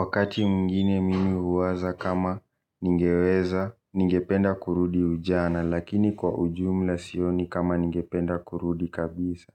Wakati mwingine mimi huwaza kama ningeweza, ningependa kurudi ujana, lakini kwa ujumla sioni kama ningependa kurudi kabisa.